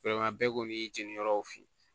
bɛɛ kɔni y'i jeni yɔrɔw f'i ye